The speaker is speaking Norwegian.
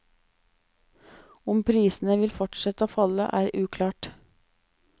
Om prisene vil fortsette å falle er uklart.